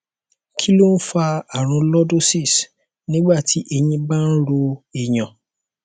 kí ló ń fa àrùn lordosis nígbà tí ẹyìn bá ń ro èèyàn